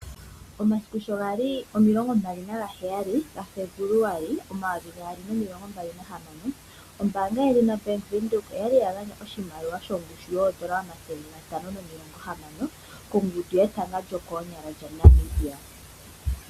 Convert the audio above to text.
Omasiku shogali 27 gaFebuluali 2026 ombaanga yobank Windhoek oya gandja oshimaliwa shongushu yoondola omayovi omathele gatano nomilonga hamano kongundu yetanga lyokoonyqla lyaNamibia.